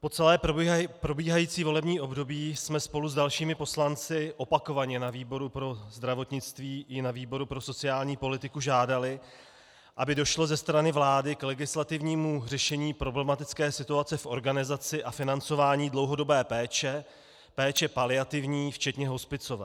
Po celé probíhající volební období jsme spolu s dalšími poslanci opakovaně na výboru pro zdravotnictví i na výboru pro sociální politiku žádali, aby došlo ze strany vlády k legislativnímu řešení problematické situace v organizaci a financování dlouhodobé péče, péče paliativní včetně hospicové.